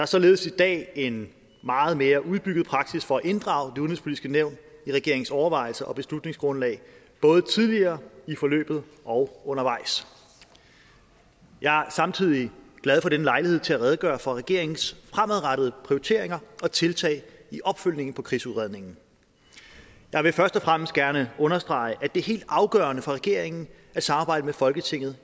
således i dag en meget mere udbygget praksis for at inddrage det udenrigspolitiske nævn i regeringens overvejelser og beslutningsgrundlag både tidligere i forløbet og undervejs jeg er samtidig glad for denne lejlighed til at redegøre for regeringens fremadrettede prioriteringer og tiltag i opfølgningen på krigsudredningen jeg vil først og fremmest gerne understrege at det er helt afgørende for regeringen at samarbejdet med folketinget